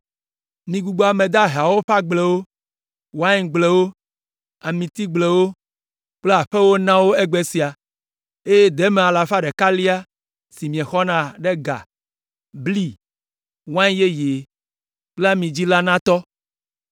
Migbugbɔ ame daheawo ƒe agblewo, waingblewo, amitigblewo kple aƒewo na wo egbe sia, eye deme alafa ɖekalia si miexɔna ɖe ga, bli, wain yeye kple ami dzi la natɔ.”